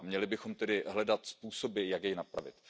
Měli bychom tedy hledat způsoby, jak jej napravit.